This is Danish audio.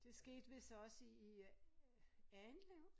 Det skete vidst også i i øh Errindlev